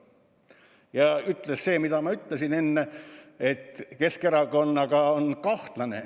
Ja ta ütles, nagu ma enne märkisin, et Keskerakonnaga on kahtlane.